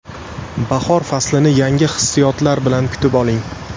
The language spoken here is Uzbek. Bahor faslini yangi hissiyotlar bilan kutib oling!